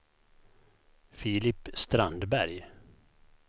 Filip Strandberg